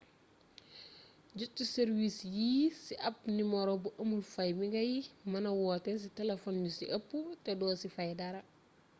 jot ci sàrwiis yii ci ab nimero bu amul fay bi ngay mëna woote ci telefon yu ci ëpp te doo ci fay dara